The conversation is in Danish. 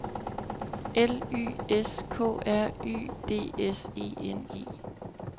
L Y S K R Y D S E N E